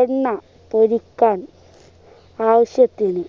എണ്ണ പൊരിക്കാൻ ആവശ്യത്തിന്